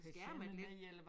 Et par skærme